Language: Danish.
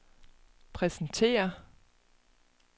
præsentere